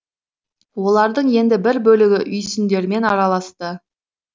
олардың енді бір бөлігі үйсіндермен араласты